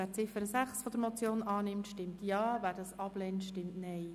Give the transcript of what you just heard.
Wer die Ziffer 6 der Motion annehmen will, stimmt Ja, wer diese ablehnt, stimmt Nein.